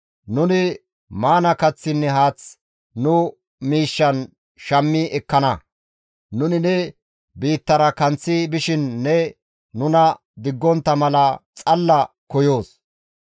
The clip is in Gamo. Nuni maana kaththinne haath nu miishshan shammi ekkana; nuni ne biittara kanththi bishin ne nuna diggontta mala xalla koyoos.